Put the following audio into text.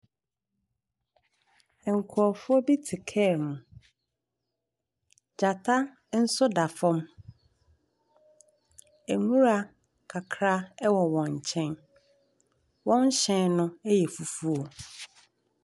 Nkurɔfoɔ bi tse kaa mu, gyata nso da fam. Nwura kakra wɔ wɔn nkyɛn, wɔn hyɛn no yɛ fufuo.